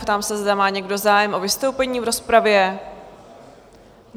Ptám se, zda má někdo zájem o vystoupení v rozpravě?